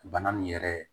Bana min yɛrɛ